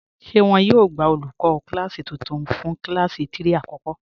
Ṣé wọn yóò gbà olùkọ kílásí tuntun fún kílásí 3 àkọ́kọ́?